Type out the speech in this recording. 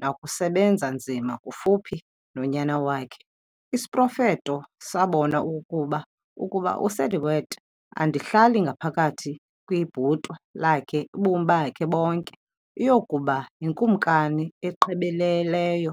nakusebenza nzima kufuphi nonyana wakhe. Isiprofetho sabona okokuba ukuba uSiddhārtha andihlali ngaphakathi kwibhotwe lakhe ubomi bakhe bonke, uyokuba yikumkani egqibeleleyo.